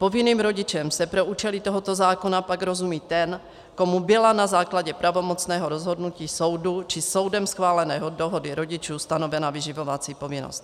Povinným rodičem se pro účely tohoto zákona pak rozumí ten, komu byla na základě pravomocného rozhodnutí soudu či soudem schválené dohody rodičů stanovena vyživovací povinnost.